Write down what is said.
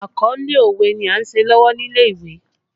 Àkọlé òwe ni a ń ṣe lọ́wọ́ nílé ìwé